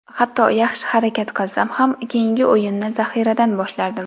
Hatto yaxshi harakat qilsam ham keyingi o‘yinni zaxiradan boshlardim.